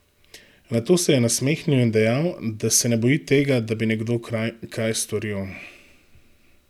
Nato se je nasmehnil in dejal, da se ne boji tega, da bi nekdo kaj storil.